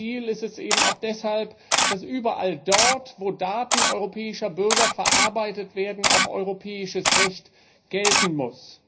Unser Ziel ist deshalb auch, dass überall dort, wo Daten europäischer Bürger verarbeitet werden, europäisches Recht gelten muss.